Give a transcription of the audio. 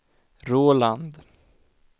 Roland